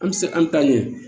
An ti se an taa ɲɛ